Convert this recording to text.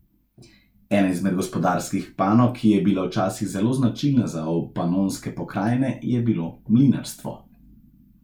Ena izmed gospodarskih panog, ki je bila včasih zelo značilna za Obpanonske pokrajine, je bilo mlinarstvo.